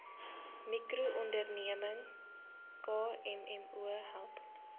mikroonderneming kmmo help